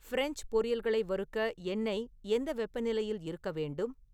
French பொரியல்களை வறுக்க எண்ணெய் எந்த வெப்பநிலையில் இருக்க வேண்டும்